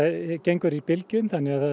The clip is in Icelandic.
gengur í bylgjum